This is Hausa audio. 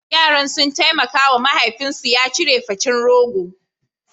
Yaran sun taimaka wa mahaifinsu ya cire facin rogo.